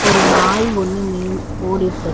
ஒரு நாய் ஒன்னு மே ஓடிட்ருக்கு.